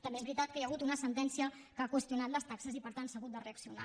també és veritat que hi ha hagut una sentència que ha qüestionat les taxes i per tant s’ha hagut de reaccionar